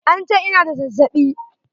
An ce ina da zazzaɓi.